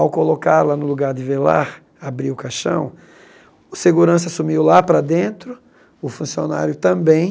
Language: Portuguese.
Ao colocá-la no lugar de velar, abrir o caixão, o segurança sumiu lá para dentro, o funcionário também.